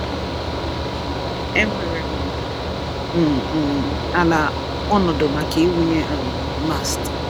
Enwere m m ala/ọnọdụ maka ịwụnye um Mast.